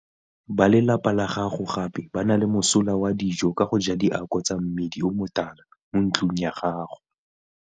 Ba lelapa la gago gape ba na le mosola wa dijo ka go ja diako tsa mmidi o motala mo ntlong ya gago.